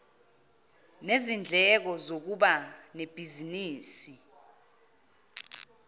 nezindleko zokuba nebhizinisi